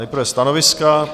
Nejprve stanoviska.